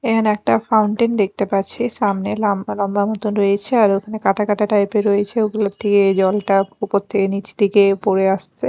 এহানে একটা ফাউন্টেন দেখতে পাচ্ছি সামনে লাম্বা লম্বা মতো রয়েছে আর ওখানে কাটা কাটা টাইপ -এর রয়েছে ওগুলোর উপর থেকে নীচ দিকে পড়ে আসছে।